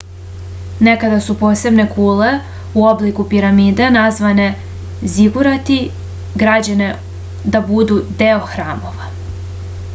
nekada su posebne kule u obliku piramide nazvane zigurati građene da budu deo hramova